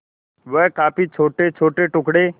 वह काफी छोटेछोटे टुकड़े